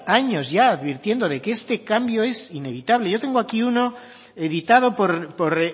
años ya advirtiendo de que este cambio es inevitable yo tengo aquí uno editado por